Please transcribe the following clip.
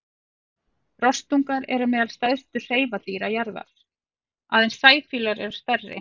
Rostungar eru meðal stærstu hreifadýra jarðar, aðeins sæfílar eru stærri.